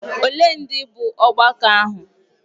Ole ndị bụ ọgbakọ ahụ?